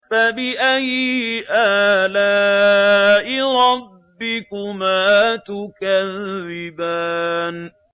فَبِأَيِّ آلَاءِ رَبِّكُمَا تُكَذِّبَانِ